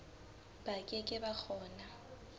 ba ke ke ba kgona